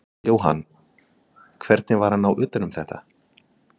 Jóhann: Hvernig var að ná utan um þetta?